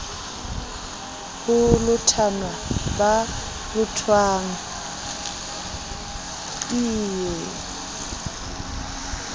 ho lothanwa ba lothuwang ie